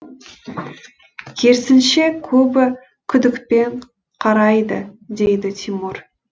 керісінше көбі күдікпен қарайды дейді тимур